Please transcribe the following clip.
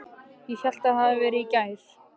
Ég hélt það hefði verið í gær.